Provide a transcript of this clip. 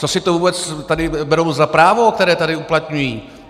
Co si to vůbec tady berou za právo, které tady uplatňují?